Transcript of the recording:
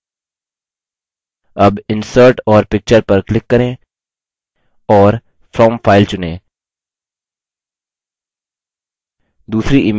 अब insert और picture पर click करें और from file चुनें दूसरी image चुनें